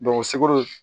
sekɔri